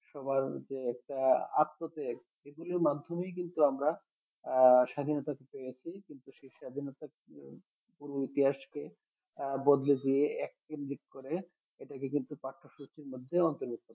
সবার যে একটা আত্মত্যাগ এগুলির মাধ্যমেই কিন্তু আমরা আহ স্বাধীনতা পেয়েছি কিন্তু সেই স্বাধীনতা পুরো ইতিহাসকে আহ বদলে দিয়ে এককেন্দ্রিক করে এটাকে কিন্তু পাঠ্যসূচীর মধ্যে অন্তর্ভুক্ত